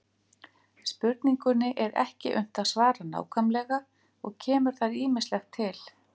Spurningunni er ekki unnt að svara nákvæmlega og kemur þar ýmislegt til.